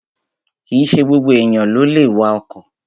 Kìíse gbogbo èèyàn ló lè wa ọkọ̀